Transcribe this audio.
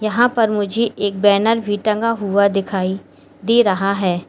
यहां पर मुझे एक बैनर भी टंगा हुआ दिखाई दे रहा है।